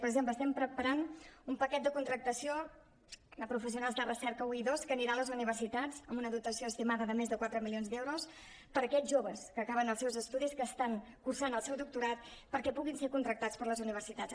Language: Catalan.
per exemple estem preparant un paquet de contractació de professionals de recerca un i dos que anirà a les universitats amb una dotació estimada de més de quatre mi·lions d’euros per a aquests joves que acaben els seus estudis que estan cursant el seu doctorat perquè puguin ser contractats per les universitats